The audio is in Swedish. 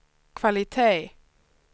kvalitet